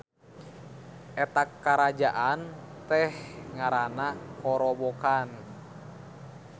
Eta karajaan teh ngaranna Korobokan.